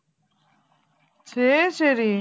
சரி சரி